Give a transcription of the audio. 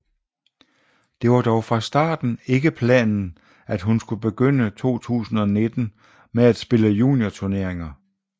Det var dog fra starten ikke planen at hun skulle begynde 2019 med at spille juniorturneringer